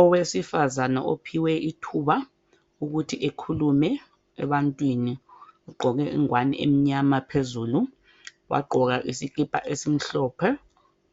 Owesifazana ophiwe ithuba ukuthi ekhulume ebantwini ugqoke ingowane emnyama phezulu wagqoka lesikipa esimhlophe